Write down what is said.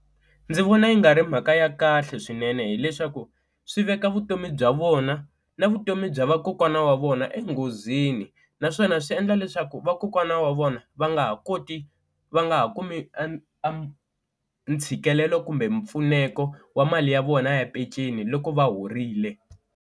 Ndzi vona yi nga ri mhaka ya kahle swinene hileswaku swi veka vutomi bya vona na vutomi bya vakokwana wa vona enghozini, naswona swi endla leswaku vakokwana wa vona va nga ha koti va nga ha kumi ntshikelelo kumbe mpfuneko wa mali ya vona ya peceni loko va horile.